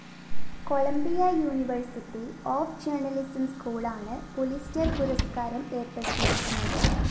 Colombia university of journalism സ്‌കൂളാണ് Pulitzer‍ പുരസ്‌കാരം ഏര്‍പ്പെടുത്തിയിരിക്കുന്നത്